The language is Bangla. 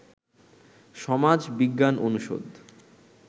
সমাজ বিজ্ঞান অনুষদ